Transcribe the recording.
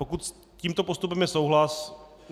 Pokud s tímto postupem je souhlas...?